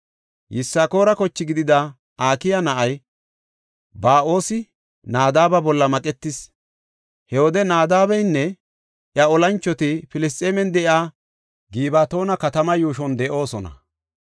Yisakoora koche gidida Akiya na7ay Ba7oosi Nadaaba bolla maqetis. He wode Naadabeynne iya olanchoti Filisxeemen de7iya Gibatoona katamaa yuushon de7oosona.